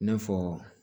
I n'a fɔ